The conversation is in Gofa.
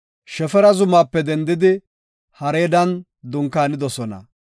Shefara zumaape dendidi Haraadan dunkaanidosona.